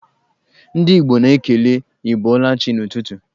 Ndị Igbo na-ekele 'ị bọọla chi' n'ụtụtụ.